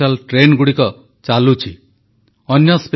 ବର୍ଷାଋତୁରେ ଜଳ ସଂରକ୍ଷଣ ଦିଗରେ ଚେଷ୍ଟା କରିବା ଲାଗି ପ୍ରଧାନମନ୍ତ୍ରୀଙ୍କ ଆହ୍ୱାନ